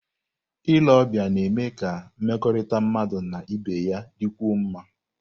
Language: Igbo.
Ile ọbịa na-eme ka mmekọrịta mmadụ na ibe ya dịkwuo mma.